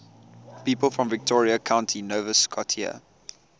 people from victoria county nova scotia